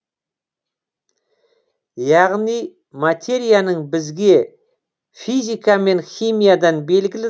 яғни материяның бізге физика мен химиядан белгілі